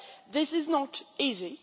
This is not easy.